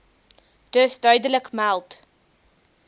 dus duidelik meld